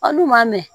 Aw n'u m'a mɛn